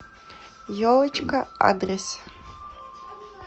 елочка адрес